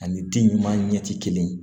Ani den ɲuman ɲɛ tɛ kelen ye